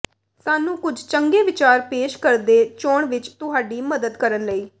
ਸਾਨੂੰ ਕੁਝ ਚੰਗੇ ਵਿਚਾਰ ਪੇਸ਼ ਕਰਦੇ ਚੋਣ ਵਿਚ ਤੁਹਾਡੀ ਮਦਦ ਕਰਨ ਲਈ